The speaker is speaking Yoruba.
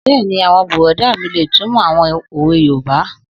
Bẹ́ẹ̀ni, bùrọ̀dá mi lè túnmọ̀ àwọn òwe yoòbá